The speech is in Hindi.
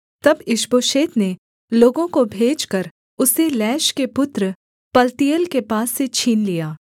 तब ईशबोशेत ने लोगों को भेजकर उसे लैश के पुत्र पलतीएल के पास से छीन लिया